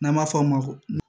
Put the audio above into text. N'an b'a f'o ma ko